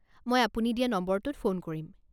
মই আপুনি দিয়া নম্বৰটোত ফোন কৰিম।